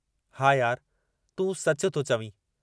हा, यार तूं सचु थो चवीं।